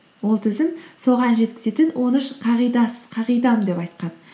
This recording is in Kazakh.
ол тізім соған жеткізетін он үш қағидам деп айтқан